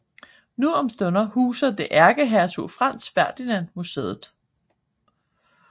Nu om stunder huser det ærkehertug Franz Ferdinand Museet